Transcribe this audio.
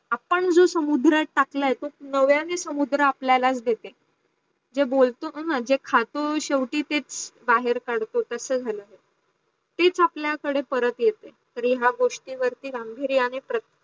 आपण जो समुद्रात टाकल्या आहे तो नव्याने समुद्रा आपल्यालाच देतो जे बोलतो ना जे खातो शेवटी तेच बाहेर काढतो तसं झालो आपल्या कडे परत येत आणी या गोष्टीवरती गांभीर्याने प्रयत्न